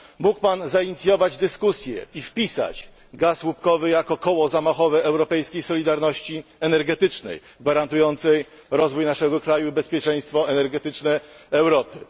Mógł Pan zainicjować dyskusję i wpisać gaz łupkowy jako koło zamachowe europejskiej solidarności energetycznej gwarantującej rozwój naszego kraju i bezpieczeństwo energetyczne Europy.